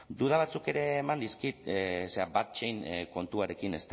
duda batzuk ere eman dizkit zera value chain kontuarekin